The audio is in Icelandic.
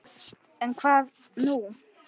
En hvað nú?